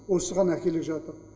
осыған әкеле жатыр